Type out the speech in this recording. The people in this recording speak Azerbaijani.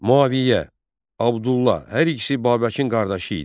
Müaviyə, Abdullah, hər ikisi Babəkin qardaşı idi.